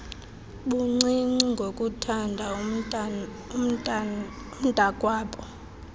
buncinci ngokuthanda umntaakwabo